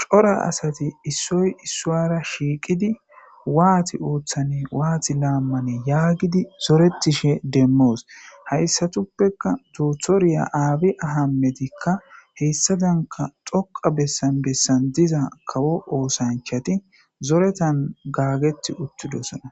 cora asati issoy issuwara shiiqidi waati ooththan waati laammane yaagidi zoretishe demmoos hayssatuppeka doothoriya aabi ahametikka heyssa danka xoqa bessan bessan diza kawo oosanchati zoretan gaageti uttidosana.